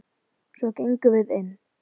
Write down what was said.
Svo gengum við inn.